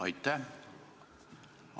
Aitäh!